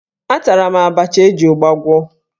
Atara m abacha e ji ụgba gwọ.